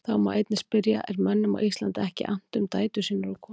Þá má einnig spyrja: Er mönnum á Íslandi ekki annt um dætur sínar og konur?